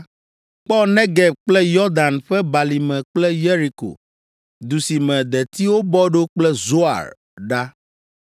Kpɔ Negeb kple Yɔdan ƒe balime kple Yeriko, du si me detiwo bɔ ɖo kple Zoar ɖa.